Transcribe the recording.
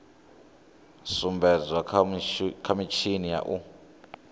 sumbedzwa kha mitshini ya u